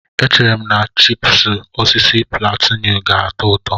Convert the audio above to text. Echere m na chipúsí osisi púlantenú ga-atọ ụtọ